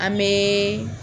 An mɛ